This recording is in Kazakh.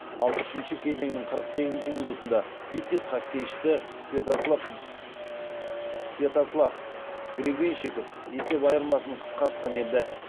ал үшінші кезеңнің қырық сегізінші минутында витязь хоккейшісі святослав гребенщиков есеп айырмасын қысқартқан еді